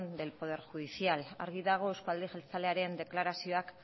del poder judicial argi dago euzko alderdi jeltzalearen deklarazioek